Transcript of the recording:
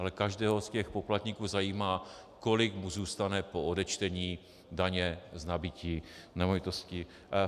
Ale každého z těch poplatníků zajímá, kolik mu zůstane po odečtení daně z nabytí nemovitosti.